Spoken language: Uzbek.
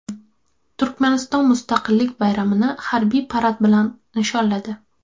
Turkmaniston Mustaqillik bayramini harbiy parad bilan nishonladi.